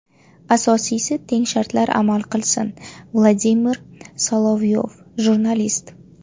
Asosiysi, teng shartlar amal qilsin”, – Vladimir Solovyov, jurnalist.